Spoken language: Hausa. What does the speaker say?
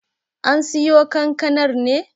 An siyo kankanar ne?